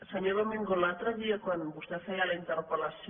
senyor domingo l’altre dia quan vostè feia la interpel·lació